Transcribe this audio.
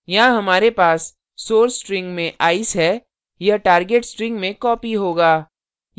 यहाँ हमारे पास source string में ice है यह target string में copied होगा